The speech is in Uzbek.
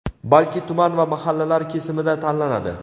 balki tuman va mahallalar kesimida tanlanadi.